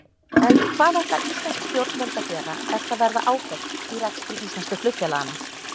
En hvað ætla íslensk stjórnvöld að gera ef það verða áföll í rekstri íslensku flugfélaganna?